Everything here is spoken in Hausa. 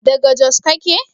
daga Jos kake?